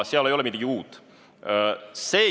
Seal ei ole midagi uut.